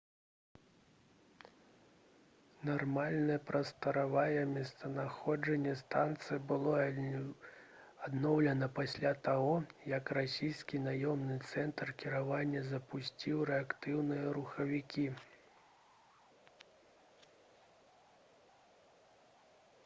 нармальнае прасторавае месцазнаходжанне станцыі было адноўлена пасля таго як расійскі наземны цэнтр кіравання запусціў рэактыўныя рухавікі